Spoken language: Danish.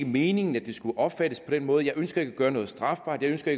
meningen at det skulle opfattes på den måde jeg ønsker ikke at gøre noget strafbart jeg ønsker